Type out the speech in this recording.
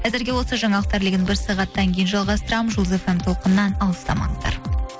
әзірге осы жаңалықтар легін бір сағаттан кейін жалғастырамын жұлдыз эф эм толқынынан алыстамаңыздар